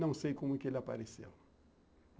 Não sei como é que ele apareceu.